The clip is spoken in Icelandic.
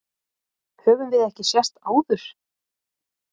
Höfum við ekki sést áður?